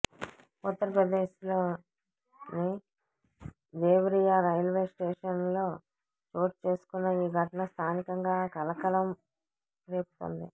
ఉత్తర్ ప్రదేశ్లోని దేవ్రియా రైల్వే స్టేషన్లో చోటు చేసుకున్న ఈ ఘటన స్థానికంగా కలకలం రేపుతోంది